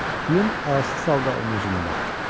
Plüm acı-acı onun üzünə baxdı.